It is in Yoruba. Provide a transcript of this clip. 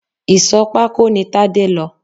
Ìsò pako ní Tade lọ